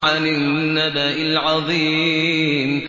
عَنِ النَّبَإِ الْعَظِيمِ